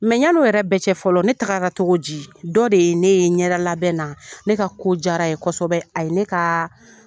ɲani o yɛrɛ bɛɛ cɛ fɔlɔ ne tagara cogo di ? Dɔ de ye ne ye ɲɛda labɛn na, ne ka ko jara ye kosɛbɛ a ye ne ka